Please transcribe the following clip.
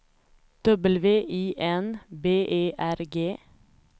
W I N B E R G